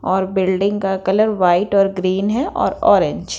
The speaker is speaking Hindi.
और बिल्डिंग का कलर वाइट और ग्रीन है और ऑरेंज --